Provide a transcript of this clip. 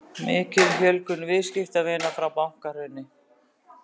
Mikil fjölgun viðskiptavina frá bankahruni